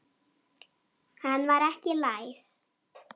Hann var ekki læs.